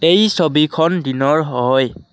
এই ছবিখন দিনৰ হয়।